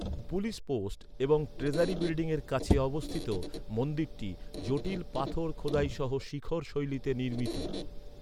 Police post এবং treasury বিল্ডিংয়ের কাছে অবস্থিত মন্দিরটি জটিল পাথর খোদাই সহ শিখর শৈলীতে নির্মিত।